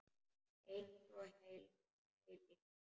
Einsog heil eilífð.